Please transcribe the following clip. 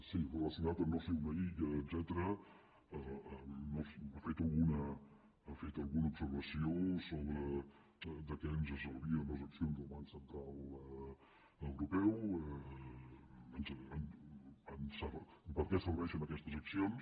sí relacionat amb no ser una illa etcètera ha fet alguna observació sobre de què ens servien les accions del banc central europeu per què serveixen aquestes accions